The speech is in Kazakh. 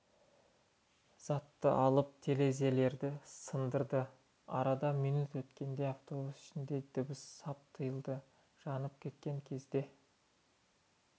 затты алып терезелерді сындырды арада минут өткенде автобус ішіндегі дыбыс сап тыйылды жанып кеткен кезде